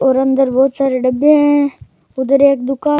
और अंदर बहुत सारे डब्बे है उधर एक दुकान--